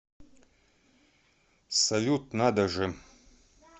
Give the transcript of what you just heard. салют надо же